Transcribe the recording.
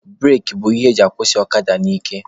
Bureki bụ ihe eji akwụsị ọkada n'ike.